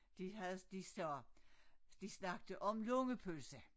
De havde de sagde de snakkede om lungepølse